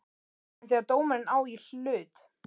En þegar dómarinn á í hlut?